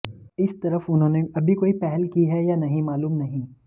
इस तरफ उन्होंने अभी कोई पहल की है या नहीं मालूम नहीं